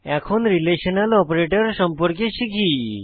এখন relational operator সম্পর্কে শিখি